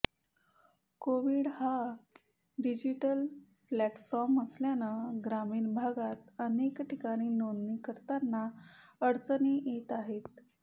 कोविन हा digital platform असल्यानं ग्रामीण भागात अनेक ठिकाणी नोंदणी करताना अडचणी येत आहेत